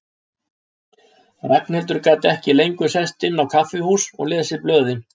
Ragnhildur gat ekki lengur sest inn á kaffihús og lesið blöðin.